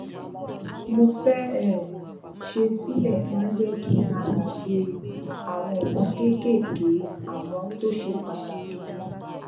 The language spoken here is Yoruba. mo fé um ṣe sílè máa ń jé kí n má gbàgbé àwọn nǹkan kéékèèké àmó tó ṣe pàtàkì